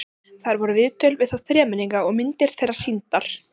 Þar voru viðtöl við þá þremenninga og myndir þeirra sýndar.